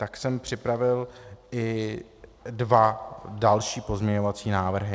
Tak jsem připravil i dva další pozměňovací návrhy.